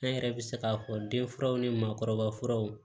An yɛrɛ bɛ se k'a fɔ den furaw ni maakɔrɔba furaw